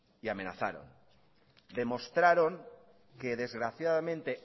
y amenazaron demostraron que desgraciadamente